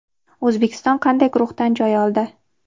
O‘zbekiston qanday guruhdan joy oldi?.